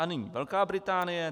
A nyní Velká Británie.